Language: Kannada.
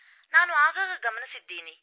ನಾನು ಆಗಾಗ ಗಮನಿಸಿದ್ದೀನಿ